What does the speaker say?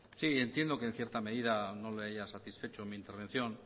sí entiendo que en cierta medida no le haya satisfecho mi intervención